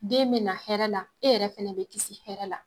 Den bɛ na hɛɛrɛ la, e yɛrɛ fɛnɛ be kisi hɛɛrɛ la.